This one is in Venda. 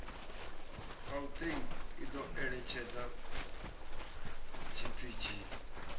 gauteng i do eletshedza gpg